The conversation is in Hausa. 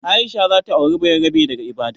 Aisha za ta auri bayarabe daga Ibadan.